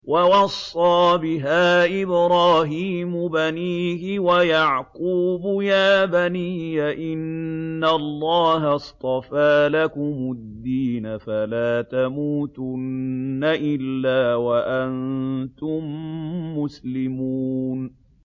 وَوَصَّىٰ بِهَا إِبْرَاهِيمُ بَنِيهِ وَيَعْقُوبُ يَا بَنِيَّ إِنَّ اللَّهَ اصْطَفَىٰ لَكُمُ الدِّينَ فَلَا تَمُوتُنَّ إِلَّا وَأَنتُم مُّسْلِمُونَ